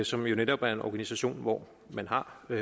som jo netop er en organisation hvor man har